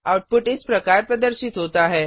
output इस प्रकार प्रदर्शित होता है